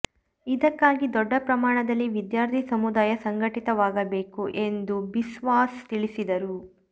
ಇದಕ್ಕಾಗಿ ದೊಡ್ಡ ಪ್ರಮಾಣದಲ್ಲಿ ವಿದ್ಯಾರ್ಥಿ ಸಮುದಾಯ ಸಂಘಟಿತವಾಗಬೇಕು ಎಂದು ಬಿಸ್ವಾಸ್ ತಿಳಿಸಿದರು